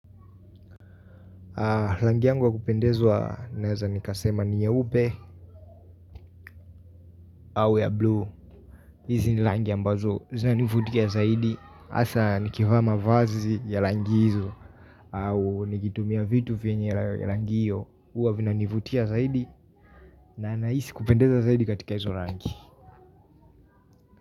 Rangi yangu wa kupendezwa naeza nikasema ni nyeupe au ya buluu hizi ni rangi ambazo zinanivutia zaidi hasa nikivaa mavazi ya rangi hizo au nikitumia vitu vyenye ya rangi yo huwa vinanivutia zaidi na nahisi kupendezwa zaidi katika hizo rangi.